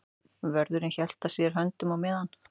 Vörðurinn hélt að sér höndum á meðan